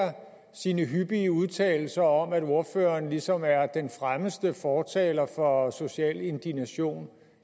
sine hyppige udtalelser om at ordføreren ligesom er den fremmeste fortaler for social indignation